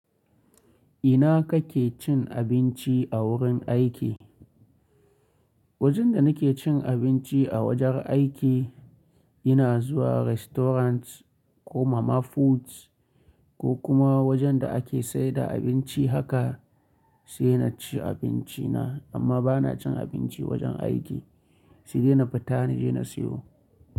Ina kake cin abinci a wurin aiki? Wajen da nake cin abinci a wajen aiki, ina zuwa restaurants ko mama puts ko kuma wajen da ake saida abinci haka sai na ci abinci na amma ba na cin abinci wajen aiki. Naje na fita na je na siyo.